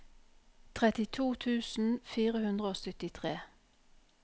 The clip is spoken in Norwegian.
trettito tusen fire hundre og syttitre